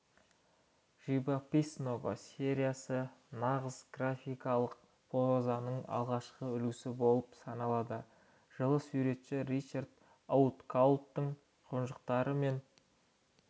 живописного сериясы нағыз графикалық прозаның алғашқы үлгісі болып саналады жылы суретші ричард оуткаулттың қонжықтар мен